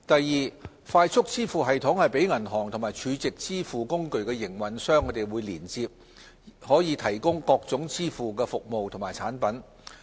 二快速支付系統讓銀行及儲值支付工具營運商連接，以提供各種支付服務及產品。